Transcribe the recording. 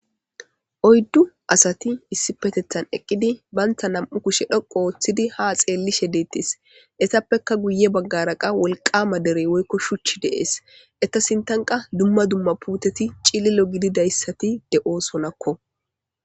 Oydu asati issipetethan eqidi banta nam'u kushe dhoqu histidi ha xeelishe deetes etappeka guye bagara wolqama derey woyko shuchika de'es eta sinthanka duma duma ouuteti cililo gididaysati de'osonKo